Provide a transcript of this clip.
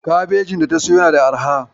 Kabejin data siyo yana da arha.